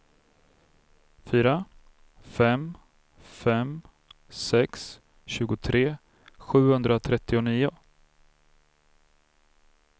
fyra fem fem sex tjugotre sjuhundratrettionio